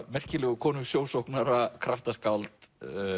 merkilegu konu sjósóknara kraftaskáld